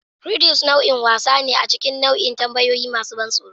Riddles nau'in wasa ne a cikin nau'in tambayoyi masu ban tsoro.